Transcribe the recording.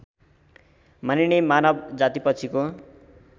मानिने मानव जातिपछिको